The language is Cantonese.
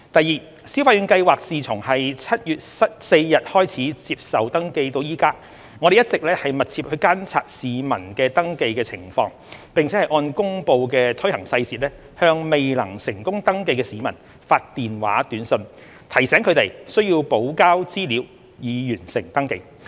二消費券計劃自7月4日開始接受登記至今，我們一直密切監察市民的登記情況，並按公布的推行細節向未能成功登記的市民發電話短訊，提醒他們需補交資料以完成登記。